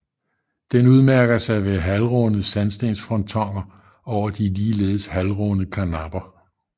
Den udmærker sig ved halvrunde sandstensfrontoner over de ligeledes halvrunde karnapper